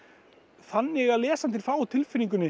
þannig að lesandinn fái á tilfinninguna